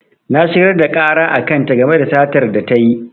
Na shigar da ƙara a kan ta game da satar da tayi